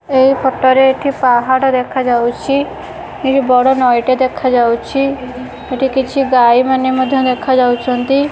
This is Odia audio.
ଏ ଫୋଟ ରେ ଏଠି ପାହାଡ଼ ଦେଖାଯାଉଛି ଏଠି ବଡ଼ ନଈଟେ ଦେଖାଯାଉଛି ଏଠି କିଛି ଗାଈ ମାନେ ମଧ୍ୟ ଦେଖାଯାଉ ଛନ୍ତି।